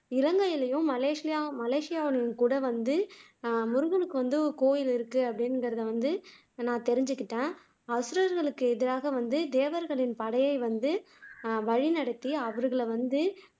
இலங்கையிலயும், மலேசியாவுலயும் கூட வந்து முருகனுக்கு வந்து கோவில் இருக்கு அப்படிங்கிறது வந்து நான் தெரிஞ்சுகிட்டேன் அசுரர்களுக்கு எதிராக வந்து தேவர்களின் படையை வந்து வழி நடத்தி அவர்களை வந்து